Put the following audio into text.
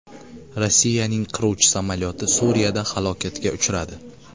Rossiyaning qiruvchi samolyoti Suriyada halokatga uchradi.